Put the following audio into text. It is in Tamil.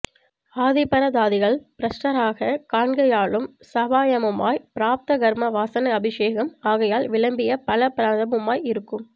ஆதிபரதாதிகள் ப்ரஷ்டராகக் காண்கையாலும் ஸாபாயமுமாய் பிராரப்த கர்ம வாசனை அபேக்ஷம் ஆகையால் விளம்பிய பல பிரதமுமாய் இருக்கும்